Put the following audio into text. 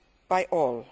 by all.